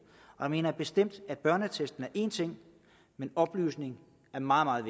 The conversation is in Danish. der mener jeg bestemt at børneattesten er en ting men oplysning er meget meget